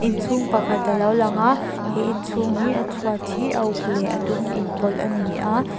inchhung pakhat alo lang a he inchhung hi a chhuat hi a uk leh a dum inpawlh ani a.